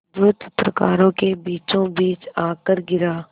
जो चित्रकारों के बीचोंबीच आकर गिरा